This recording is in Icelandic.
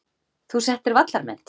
Þú settir vallarmet.